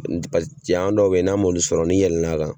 Janya dɔw be yen n'a m'olu sɔrɔ n'i yɛlɛl'a kan